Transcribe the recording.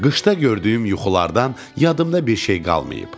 Qışda gördüyüm yuxulardan yadımda bir şey qalmayıb.